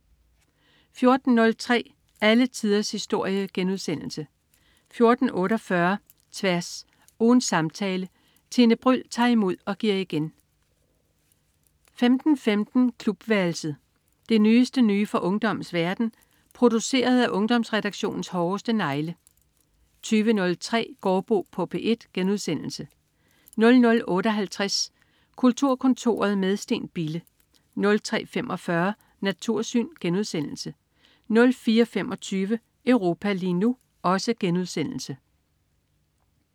14.03 Alle tiders historie* 14.48 Tværs. Ugens samtale. Tine Bryld tager imod og giver igen 15.15 Klubværelset. Det nyeste nye fra ungdommens verden, produceret af Ungdomsredaktionens hårdeste negle 20.03 Gaardbo på P1* 00.58 Kulturkontoret med Steen Bille* 03.45 Natursyn* 04.25 Europa lige nu*